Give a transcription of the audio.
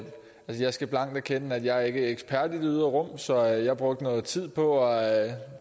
jeg skal blankt erkende at jeg ikke er ekspert i det ydre rum så jeg brugte noget tid på at